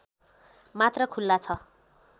मात्र खुल्ला छ